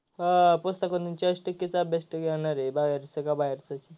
हा पुस्तकावरन तरी चाळीस टक्केचा अभ्यास तरी येणार आहे बाहेरच का बाहेरच.